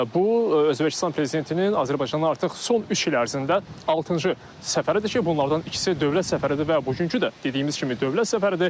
Bu Özbəkistan prezidentinin Azərbaycana artıq son üç il ərzində altıncı səfəridir ki, bunlardan ikisi dövlət səfəridir və bugünkü də dediyimiz kimi dövlət səfəridir.